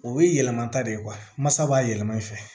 O ye yɛlɛma ta de ye mansa b'a yɛlɛma i fɛ